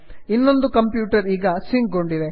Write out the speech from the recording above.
ಇನ್ನೊಂದು ಕಂಪ್ಯೂಟರ್ ಈಗ ಸಿಂಕ್ ಗೊಂಡಿದೆ